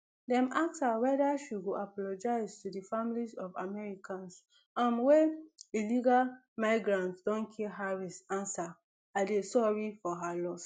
dem ask her weda she go apologise to di families of americans um wey illegal migrants don kill harris answer i dey sorry for her loss